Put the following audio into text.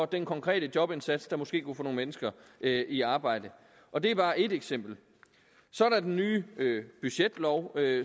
den konkrete jobindsats der måske kunne få nogle mennesker i arbejde og det er bare ét eksempel så er der den nye budgetlov